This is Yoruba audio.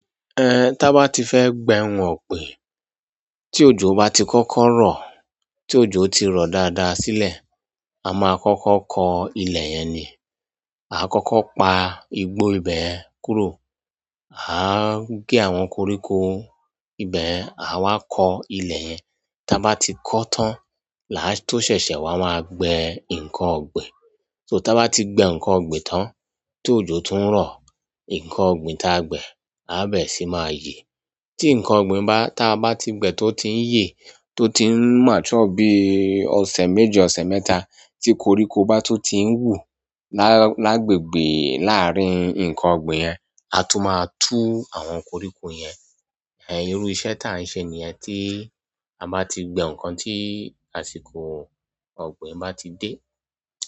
Eh, tá bá ti fẹ́ gbẹhun ọ̀gbìn, tí òjò bá ti kókó rọ̀, tí òjò ti rọ̀ dáadáa sílẹ̀, a máa kókó kọ ilẹ̀ yẹn ni. A kókó pa igbó ibẹ̀ kúrò. Ah gé àwọn koríko ibẹ̀yen, a wá kọ ilẹ̀ yẹn. Tá bá ti kọ́ o tán làá tó ṣẹ̀ṣẹ̀ wá, máa gbẹ́ nǹkan ọ̀gbìn. So tá bá ti gbẹ́ nǹkan ọ̀gbìn tán, tòjò tún rọ̀, nǹkan ọ̀gbìn tá a gbẹ́ lá bẹ̀ sí máa yè. Tí nǹkan ọ̀gbìn bá, tá a bá ti gbẹ e tó ti ń yè, tó ti ń mature bií ọ̀sẹ̀ méjì, ọ̀sẹ̀ mẹ́ta, tí koríko bá tun ti ń wù lá, lágbègbè láàárín nǹkan ọ̀gbìn yẹn, a tún máa tú àwọn koríko yẹn. Eh, irú iṣẹ́ tá à ń ṣe nìyẹn tí a bá ti gbẹ́ nǹkan tí àsìkò ọ̀gbìn bá ti dé.